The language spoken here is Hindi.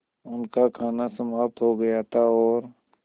उनका खाना समाप्त हो गया था और